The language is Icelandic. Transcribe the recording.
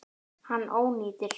Hann ónýtir.